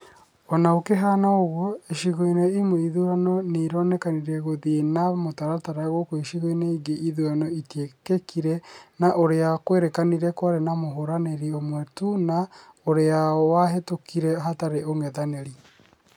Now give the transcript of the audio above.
Ona gũkĩhana ũguo, icigo-inĩ imwe ithurano nĩironekanire gũithie na mũtaratara gũkũ icigo-inĩ ingĩ ithurano itiekĩkĩre na ũria kwerĩkanire kwarĩ na mũhũranĩri ũmwe tu na ũrĩa wahĩtukire hatarĩ ũng'ethanĩri